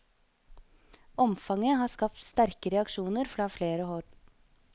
Omfanget har skapt sterke reaksjoner fra flere hold.